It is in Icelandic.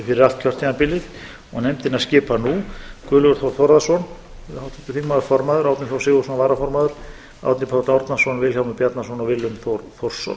fyrir allt kjörtímabilið og nefndina skipa nú guðlaugur þór þórðarson háttvirtur þingmaður formaður árni þór sigurðsson varaformaður árni páll árnason vilhjálmur bjarnason og willum þór þórsson